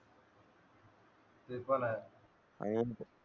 आणि सिम्पल आहे